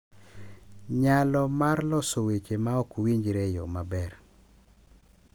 Nyalo mar loso weche ma ok winjre e yo maber